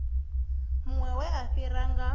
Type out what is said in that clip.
muṅwe we a fhiwa nga